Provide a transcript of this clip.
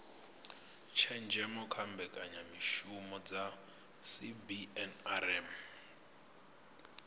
tshenzhemo kha mbekanyamishumo dza cbnrm